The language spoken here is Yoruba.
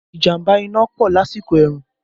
Ìjàmbá iná ń pọ̀ lásìkò ẹ̀rùn